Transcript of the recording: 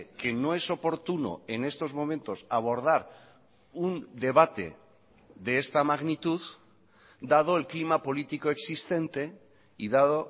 que no es oportuno en estos momentos abordar un debate de esta magnitud dado el clima político existente y dado